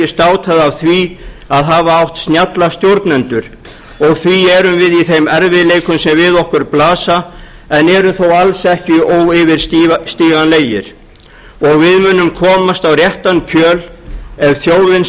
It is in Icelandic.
státað af því að hafa átt snjalla stjórnendur og því erum við í þeim erfiðleikum sem við okkur blasa en eru þó alls ekki óyfirstíganlegir við munum komast á réttan kjöl ef þjóðin